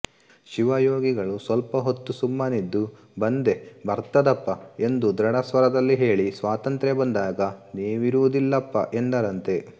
ಶಿವಯೋಗಿಗಳು ಸ್ವಲ್ಪಹೊತ್ತು ಸುಮ್ಮನಿದ್ದು ಬಂದೇ ಬರ್ತದಪಾ ಎಂದು ದೃಢಸ್ವರದಲ್ಲಿ ಹೇಳಿ ಸ್ವಾತಂತ್ರ್ಯ ಬಂದಾಗ ನೀವಿರುವುದಿಲ್ಲಪಾ ಎಂದರಂತೆ